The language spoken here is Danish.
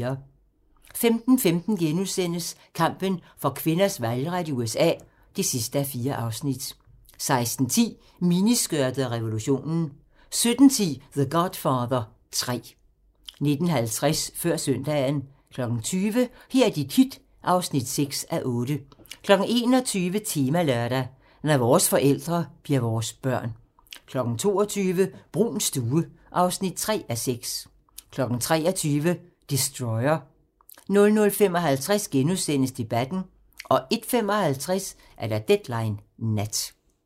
15:15: Kampen for kvinders valgret i USA (4:4)* 16:10: Miniskørtet og revolutionen 17:10: The Godfather 3 19:50: Før søndagen 20:00: Her er dit hit (6:8) 21:00: Temalørdag: Når vores forældre bliver vores børn 22:00: Bruuns stue (3:6) 23:00: Destroyer 00:55: Debatten * 01:55: Deadline Nat